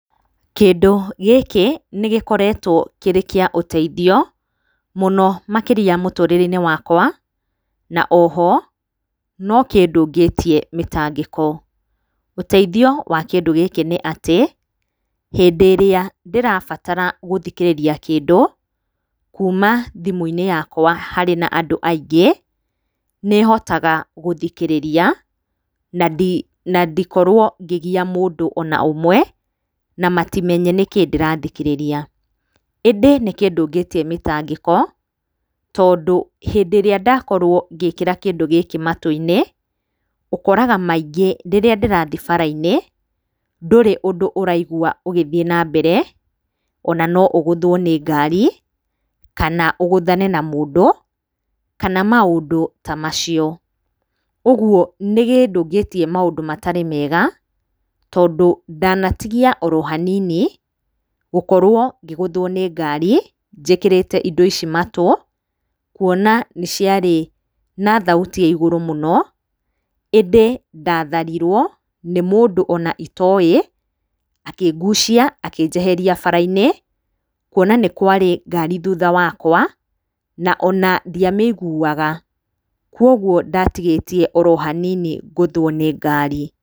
Kĩndũ gĩkĩ nĩ gĩkoretwo kĩrĩ kĩa ũteithio, mũno makĩria mũtũrĩre-inĩ wakwa, na o ho, no kĩndũngĩtie mĩtangĩko. Ũteithio wa kĩndũ gĩkĩ nĩ atĩ, hĩndĩ ĩrĩa ndĩrabatara gũthikĩrĩria kĩndũ, kuma thimũ-inĩ yakwa harĩ na andũ aingĩ, nĩ hotaga gũthikĩrĩria na ndi na ndikorwo ngĩgia mũndũ o na ũmwe, na matimenye nĩkĩ ndĩrathikĩrĩria. ĩndĩ nĩ kĩndũngĩtie mĩtangĩko tondũ, hĩndĩ ĩrĩa ndakorwo ngĩkĩra kĩndũ gĩkĩ matũ-inĩ, ũkoraga maingĩ rĩrĩa ndĩrathiĩ bara-inĩ, ndũrĩ ũndũ ũraigua ũgĩthiĩ na mbere, o na no ũgũthwo nĩ ngari, kana ũgũthane na mũndũ, kana maũndũ ta macio. Ũguo nĩ kĩndũngĩtie maũndũ matarĩ mega, tondũ ndanatigia o ro hanini, gũkorwo ngĩgũthwo nĩ ngari, njĩkĩrĩte indo ici matũ, kuona nĩ ciarĩ na thauti ya igũrũ mũno, indĩ ndatharirwo nĩ mũndũ o na itoĩ, akĩngucia akĩnjeheria bara-inĩ, kuona nĩ kwarĩ ngari thutha wakwa na ona ndiamĩiguaga, kuoguo ndatigĩtie o ro hanini ngũthwo nĩ ngari.